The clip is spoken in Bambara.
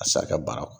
A sara ka baara